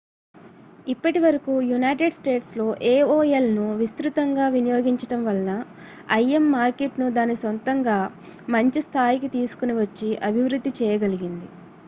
ఇప్పటి వరకు united statesలో aolను విస్తృతంగా వినియోగించడం వలన im మార్కెట్‌ను దాని సొంతంగా మంచి స్థాయికి తీసుకొని వచ్చి అభివృద్ధి చేయగలిగింది